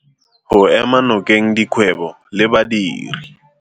Go ema nokeng dikgwebo le badiri.